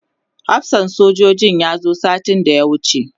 hafsan sojojin ya zo satin da ya wuce